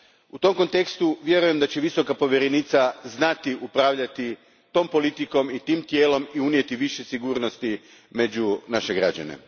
U tom kontekstu, vjerujem da će Visoka povjerenica znati upravljati tom politikom i tim tijelom i unijeti više sigurnosti među naše građane.